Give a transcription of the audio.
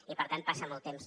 i per tant passa molt temps